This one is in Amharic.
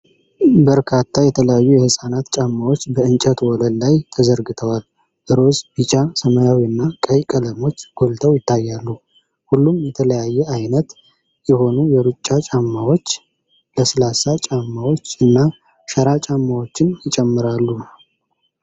በርካታ የተለያዩ የህፃናት ጫማዎች በእንጨት ወለል ላይ ተዘርግተዋል። ሮዝ፣ ቢጫ፣ ሰማያዊ እና ቀይ ቀለሞች ጎልተው ይታያሉ፤ ሁሉም የተለያየ አይነት የሆኑ የሩጫ ጫማዎች፣ ለስላሳ ጫማዎች እና ሸራ ጫማዎችን ይጨምራሉ።